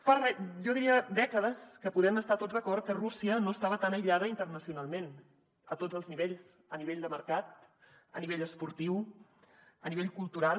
fa jo diria dècades que podem estar tots d’acord que rússia no estava tan aïllada internacionalment a tots els nivells a nivell de mercat a nivell esportiu a nivell cultural